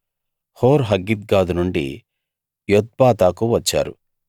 హోర్‌హగ్గిద్గాదు నుండి యొత్బాతాకు వచ్చారు